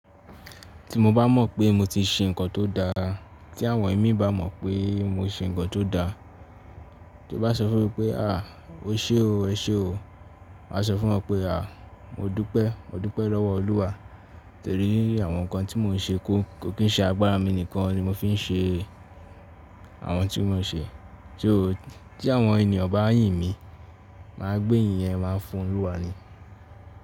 Tí mo bá mọ̀ pé mo ti ṣe nǹkan tó dáa, tí àwọn ẹ̀mí bá mọ̀ pé mo ṣe nǹkan tó dáa, tí wọ́n bá sọ fún mi pé, “à, o ṣe o, ẹ ṣe o”, máa sọ fún wọn pé, “à, mo dúpẹ́, mo dúpẹ́ lọ́wọ́ Olúwa. Torí àwọn nǹkan tí mò ń ṣe kò ko kín ṣe agbára mi nìkan ni mo fi ń ṣe àwọn ohun tí mò ń ṣe. Só tí àwọn ènìyàn bá yìn mí, máa gbé ìyìn yẹn máa fun Olúwa ni.”